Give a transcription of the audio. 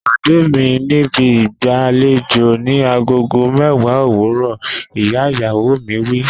Pàdé mi níbi ìgbàlejò ni agogo mẹ́wàá òwúrọ̀! Ìyá ìyàwó wí.